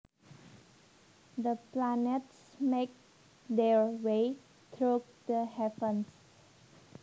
The planets make their way through the heavens